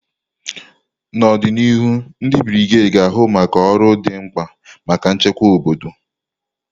N'ọdịnihu, ndị brigedi ga-ahụ maka ọrụ dị mkpa maka nchekwa obodo.